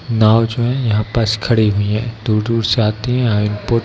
नाओ जो हैं यहाँ पास खड़ी हुई हैं | दूर दूर से आती है इंपोर्ट --